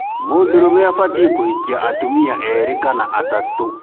mũndũrũme abatiĩ kũhikia atumia eerĩ kana atatũ.